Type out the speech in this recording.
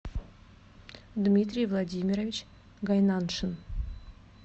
дмитрий владимирович гайнаншин